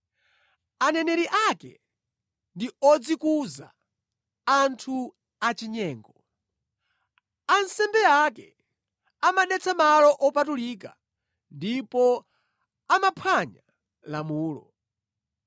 Aneneri ake ndi odzikuza; anthu achinyengo. Ansembe ake amadetsa malo opatulika ndipo amaphwanya lamulo.